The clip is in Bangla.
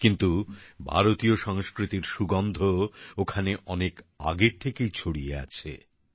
কিন্তু ভারতীয় সংস্কৃতির সুগন্ধ ওখানে অনেক আগের থেকেই ছড়িয়ে আছে